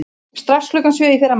Strax klukkan sjö í fyrramálið.